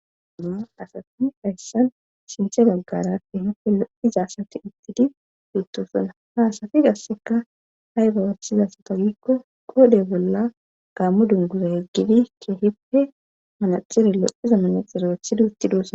Asatani hayssan sinthe baggara ke hippe lo7iza asati ittidi biittusona haasafi gasseka hay gawashiza satagikko qodhe bolla gaammu dunguza heggidi ke hippe manaxire lo7iza manaxire othida uttidossonna.